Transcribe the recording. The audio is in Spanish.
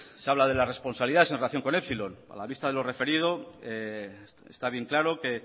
se habla de las responsabilidades en relación con epsilon a la vista de lo referido está bien claro que